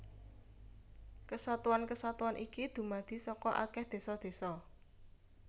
Kesatuan kesatuan iki dumadi saka akèh désa désa